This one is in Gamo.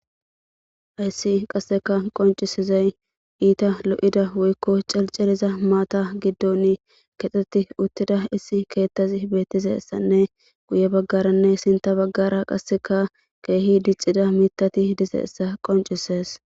Hayssi qasseka qoncisizay iita lo'ida woykko cilceliza maata giddon kexxetti uttida issi keettazi beettisessanne guye baggaranne sinta baggara qasseka keehi diccida mitati de'essa qoncises